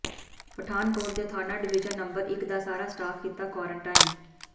ਪਠਾਨਕੋਟ ਦੇ ਥਾਣਾ division number ਇਕ ਦਾ ਸਾਰਾ ਸਟਾਫ਼ ਕੀਤਾ ਕੁਆਰੰਟੀਨ